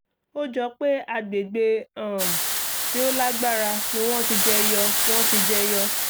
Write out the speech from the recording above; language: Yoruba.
ó jọ pé agbègbè um tí ó lágbára ni wọ́n ti jẹyọ wọ́n ti jẹyọ